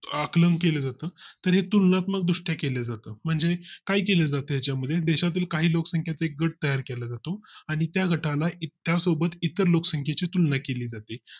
आकलन केले जातं तर हे तुलनात्मक दृष्ट्या केला जातं म्हणजे, काय केलं जाते याच्या मध्ये देशातील काही लोकसंख्या एक गट तयार केला जातो आणि त्या गटाला त्या सोबत इतर लोकसंख्ये ची तुलना केली जाते